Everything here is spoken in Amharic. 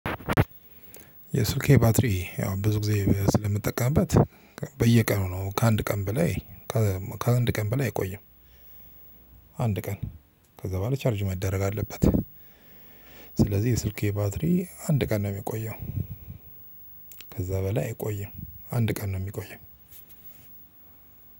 የስልኬ ባትሪ ያው ብዙ ጊዜ ስለምጠቀምበት በየቀኑ ነው። ከአንድ ቀን በላይ አይቆይም። አንድ ቀን ከዛ በኋላ ቻርጅ መደረግ አለበት። ስለዚህ የስልኬ ባትሪ አንድ ቀን ነው የሚቆየው። ከዛ በላይ አይቆይም አንድ ቀን ነው የሚቆየው።